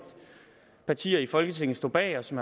partier i folketinget står bag og som